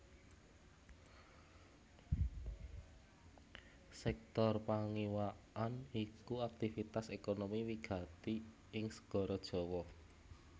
Sèktor pangiwakan iku aktivitas ékonomi wigati ing Segara Jawa